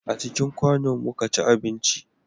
A cikin kwano mu ka ci abinci